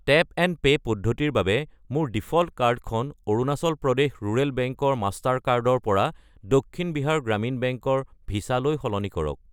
Tap and pay পদ্ধতিৰ বাবে মোৰ ডিফ'ল্ট কাৰ্ডখন অৰুনাচল প্ৰদেশ ৰুৰেল বেংক ৰ মাষ্টাৰ কাৰ্ড ৰ পৰা দক্ষিণ বিহাৰ গ্ৰামীণ বেংক ৰ ভিছা লৈ সলনি কৰক।